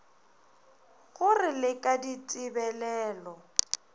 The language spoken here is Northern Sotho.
go re le ka ditebelelo